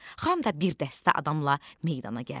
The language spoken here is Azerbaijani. Xan da bir dəstə adamla meydana gəldi.